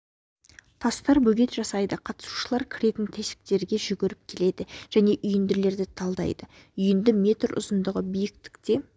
тастар бөгет жасайды қатысушылар кіретін тесіктерге жүгіріп келеді және үйінділерді талдайды үйінді метр ұзындығы биіктікте